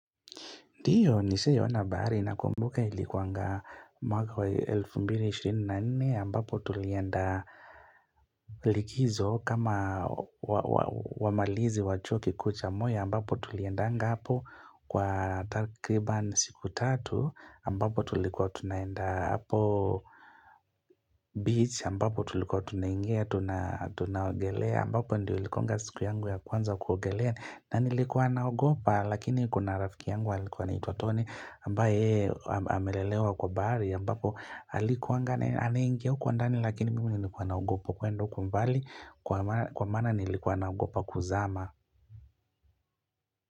Ndiyo, nishawahi ona bahari n kumbuka ilikuanga mwaka wa 2024 ambapo tulienda likizo kama wamalizi wa chuo kikuu cha moi ambapo tuliendanga hapo kwa takriban siku tatu ambapo tulikuwa tunaenda hapo beach ambapo tulikuwa tunaingia tunaogelea ambapo ndio ilikuanga siku yangu ya kwanza kuogelea. Na nilikuwa naogopa lakini kuna rafiki yangu alikuwa anaitwa Tony ambaye yeye amelelewa kwa bahari ambapo alikuwanga anaingia huko ndani lakini mimi nilikuwa naogopa kwenda huko mbali kwa maana nilikuwa naogopa kuzama.